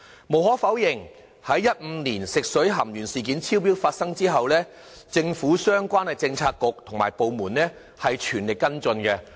無可否認，在2015年發生食水含鉛超標事件後，政府相關政策局和部門均全力跟進。